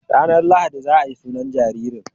Ranar lahadi za ayi sunan jaririn